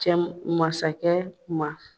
Cɛ masakɛ ma